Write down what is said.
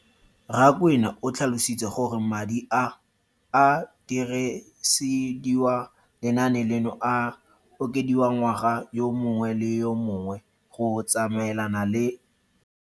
Rakwena o tlhalositse gore madi a a dirisediwang lenaane leno a okediwa ngwaga yo mongwe le yo mongwe go tsamaelana le